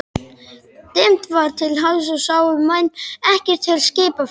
Dimmt var til hafs og sáu menn ekkert til skipaferða.